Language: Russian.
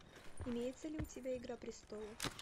имеется ли у тебя игра престолов